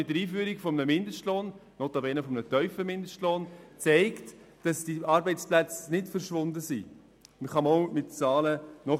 Die Einführung des Mindestlohnes in Deutschland hat dies nachweisbar gezeigt.